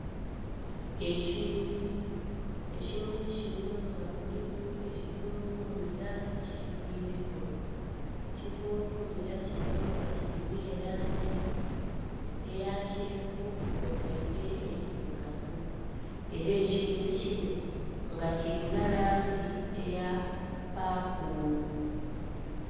Ekimuli, ekimuli kino nga kuliku ekivunvumira ekikigwireku, ekivunvumira kino nga kirina erangi eya kyenvu kw'otaire endhirugavu era ekimuli kino nga kirina langi eya paapo.